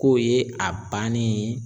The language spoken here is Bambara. K'o ye a bannen ye